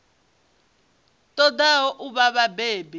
ṱo ḓaho u vha vhabebi